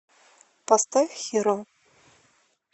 поставь хиро